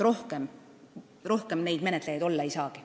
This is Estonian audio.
Rohkem neid menetlejaid olla ei saagi.